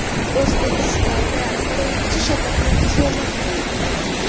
O‘zbekistonda birinchi shatakli kema qurildi.